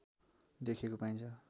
देखिएको पाइन्छ